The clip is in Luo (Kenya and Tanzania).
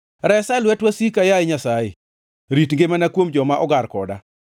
Resa e lwet wasika, yaye Nyasaye; Rit ngimana kuom joma ogar koda.